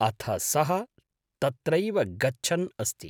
अथ सः तत्रैव गच्छन् अस्ति।